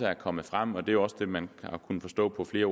er kommet frem og det er også det man har kunne forstå på flere af